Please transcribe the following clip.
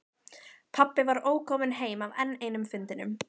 Pabbi var ókominn heim af enn einum fundinum.